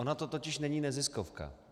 Ona to totiž není neziskovka.